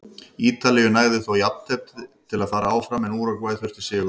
Ítalíu nægði þó jafntefli til að fara áfram en Úrúgvæ þurfti sigur.